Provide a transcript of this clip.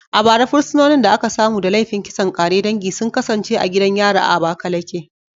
A bara, fursunonin da aka samu da laifin kisan ƙare dangi sun kasance a gidan yari a Abakaleke